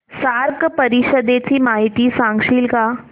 SAARC परिषदेची माहिती सांगशील का